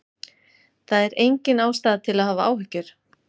Það er engin ástæða til að hafa áhyggjur.